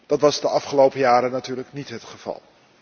Dat was de afgelopen jaren natuurlijk niet het geval.